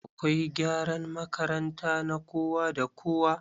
Akwai gyaran makaranta na kowa da kowa.